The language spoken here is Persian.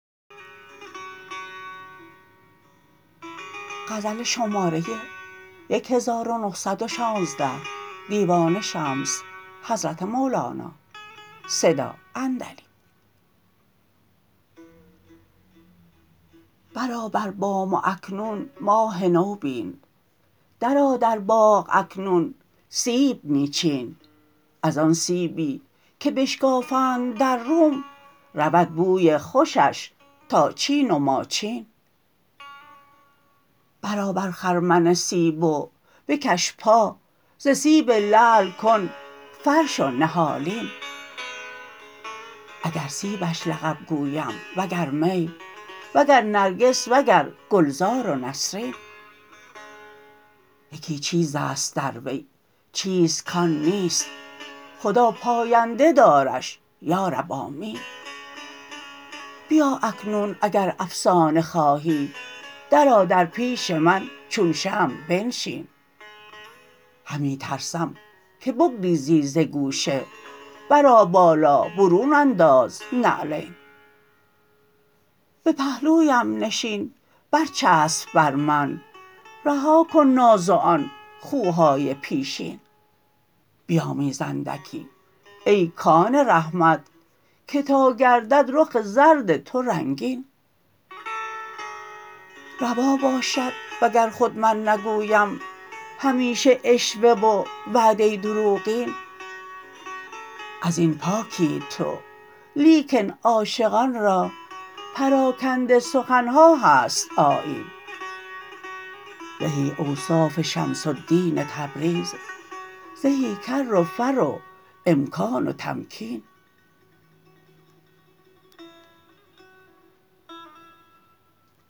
برآ بر بام و اکنون ماه نو بین درآ در باغ و اکنون سیب می چین از آن سیبی که بشکافد در روم رود بوی خوشش تا چین و ماچین برآ بر خرمن سیب و بکش پا ز سیب لعل کن فرش و نهالین اگر سیبش لقب گویم وگر می وگر نرگس وگر گلزار و نسرین یکی چیز است در وی چیست کان نیست خدا پاینده دارش یا رب آمین بیا اکنون اگر افسانه خواهی درآ در پیش من چون شمع بنشین همی ترسم که بگریزی ز گوشه برآ بالا برون انداز نعلین به پهلویم نشین برچفس بر من رها کن ناز و آن خوهای پیشین بیامیز اندکی ای کان رحمت که تا گردد رخ زرد تو رنگین روا باشد وگر خود من نگویم همیشه عشوه و وعده دروغین از این پاکی تو لیکن عاشقان را پراکنده سخن ها هست آیین زهی اوصاف شمس الدین تبریز زهی کر و فر و امکان و تمکین